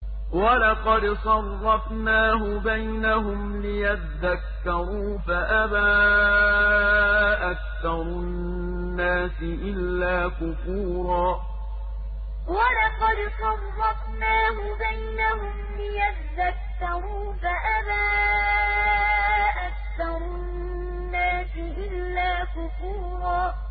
وَلَقَدْ صَرَّفْنَاهُ بَيْنَهُمْ لِيَذَّكَّرُوا فَأَبَىٰ أَكْثَرُ النَّاسِ إِلَّا كُفُورًا وَلَقَدْ صَرَّفْنَاهُ بَيْنَهُمْ لِيَذَّكَّرُوا فَأَبَىٰ أَكْثَرُ النَّاسِ إِلَّا كُفُورًا